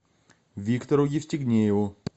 виктору евстигнееву